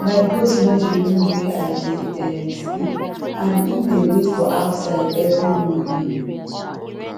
my goat know di room wey i dey um sleep and em dey wait for outside every morning